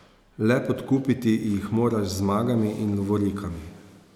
Le podkupiti jih moraš z zmagami in lovorikami.